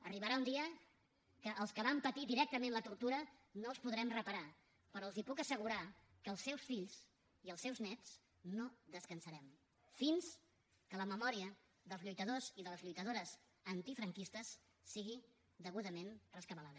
arribarà un dia que els que van patir directament la tortura no els podrem reparar però els puc assegurar que els seus fill i els seus néts no descansarem fins que la memòria dels lluitadors i de les lluitadores antifranquistes sigui degudament rescabalada